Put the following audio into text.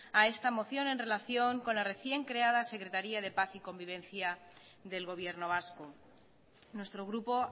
a esta moción en relación con la recién creada secretaría de paz y convivencia del gobierno vasco nuestro grupo